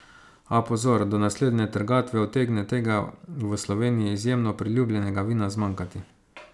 A, pozor, do naslednje trgatve utegne tega v Sloveniji izjemno priljubljenega vina zmanjkati!